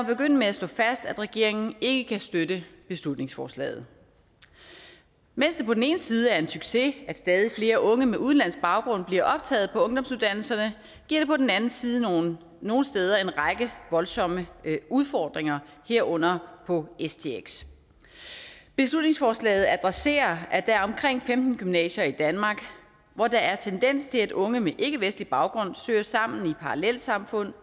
begynde med at slå fast at regeringen ikke kan støtte beslutningsforslaget mens det på den ene side er en succes at stadig flere unge med udenlandsk baggrund bliver optaget på ungdomsuddannelserne giver det på den anden side nogle nogle steder en række voldsomme udfordringer herunder på stx beslutningsforslaget adresserer at der er omkring femten gymnasier i danmark hvor der er tendens til at unge med ikkevestlig baggrund søger sammen i parallelsamfund